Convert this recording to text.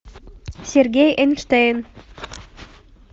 сергей эйнштейн